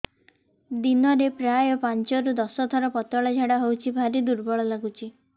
ଦିନରେ ପ୍ରାୟ ପାଞ୍ଚରୁ ଦଶ ଥର ପତଳା ଝାଡା ହଉଚି ଭାରି ଦୁର୍ବଳ ଲାଗୁଚି